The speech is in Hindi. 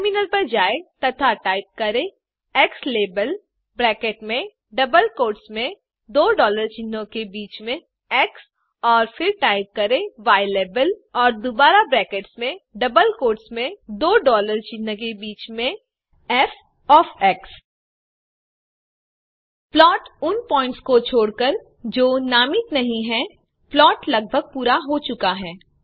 टर्मिनल पर जाएँ तथा टाइप करें ज़्लाबेल ब्रैकेट्स में डबल कोट्स में दो डॉलर चिन्ह के बीच में एक्स और फिर टाइप करें यलाबेल और दुबारा ब्रैकेट्स में डबल कोट्स में दो डॉलर चिन्ह के बीच में फ़ ओएफ एक्स प्लॉट उन प्वॉइंट्स को छोड़कर जो नामित नहीं हैं प्लॉट लगभग पूरा हो चुका है